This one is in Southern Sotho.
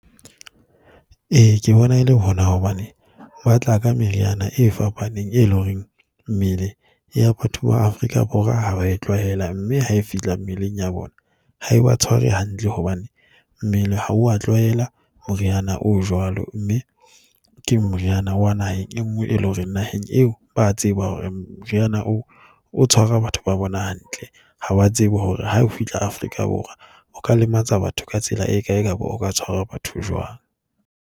E, ke bona e le hona hobane ba tla ka meriana e fapaneng e leng horeng mmele ya batho ba Afrika Borwa ha ba tlwaela mme ha e fihla mmeleng ya bona ha e ba tshware hantle hobane mmele ha wa tlwaela moriana oo jwalo. Mme ke moriana wa naheng e nngwe e leng hore naheng eo ba tseba hore moriana o tshwara batho ba bona hantle. Ha ba tseba hore ha o fihla Afrika Borwa, o ka lematsa batho ka tsela e kae, kapa o ka tshwara batho jwang.